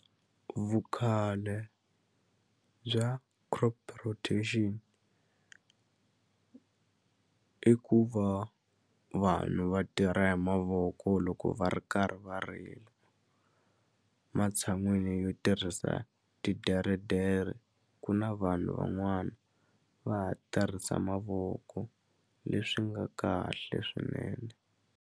Vukhale bya crop rotation i ku va vanhu va tirha hi mavoko loko va ri karhi va ri matshan'wini yo tirhisa titeretere ku na vanhu van'wana va ha tirhisa mavoko leswi nga kahle swinene.